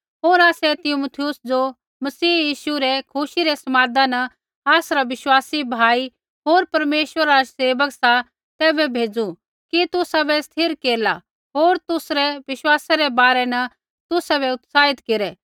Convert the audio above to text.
होर आसै तीमुथियुस ज़ो मसीह यीशु रै खुशी रै समादा न आसरा विश्वासी भाई होर परमेश्वरा रा सेवक सा तैबै भेज़ू कि तुसाबै स्थिर केरला होर तुसरै विश्वासै रै बारै न तुसाबै उत्साहित केरै